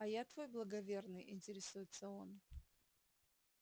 а я твой благоверный интересуется он